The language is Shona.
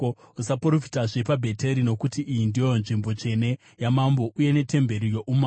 Usaprofitazve paBheteri, nokuti iyi ndiyo nzvimbo tsvene yamambo uye netemberi youmambo.”